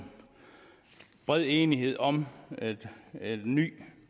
bred enighed om et nyt